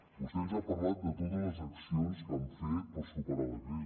vostè ens ha parlat de totes les accions que han fet per superar la crisi